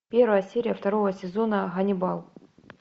первая серия второго сезона ганнибал